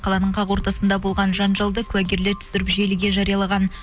қаланың қақ ортасында болған жанжалды куәгерлер түсіріп желіге жариялаған